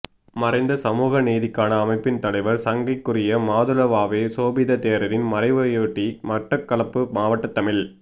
மறைந்த சமூக நீதிக்கான அமைப்பின் தலைவர் சங்கைக்குரிய மாதுளுவாவே சோபித தேரரின் மறைவையொட்டி மட்டக்களப்பு மாவட்ட தமிழ்